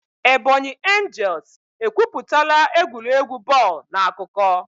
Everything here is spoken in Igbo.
Ebonyi angels ekwuputala egwuregwu bọọlụ n'akụkọ.